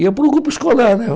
Ia para o grupo escolar, né?